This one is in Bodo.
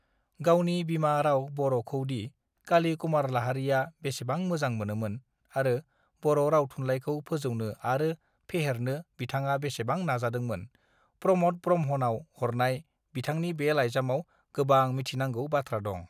गावनि बिमा राव बर खौ दि काली कुमार लाहारीया बेसेबां मोजां मोनोमोन आरो बर राव थुनलाइखौ फोजौनो आरो फेहेरनो बिथांङा बेसेबां नाजादोंमोन प्रमोद ब्रह्मानव हरनाय बिथांनि बे लाइजामाव गोबां मिथिनांगौ बाथ्रा दं